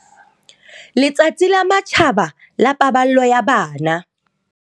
Letsatsi la matjhaba la paballo ya bana.